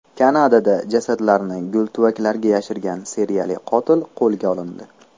Kanadada jasadlarni gultuvaklarga yashirgan seriyali qotil qo‘lga olindi.